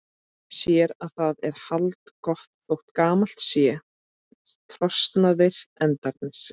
Sér að það er haldgott þótt gamalt sé og trosnaðir endarnir.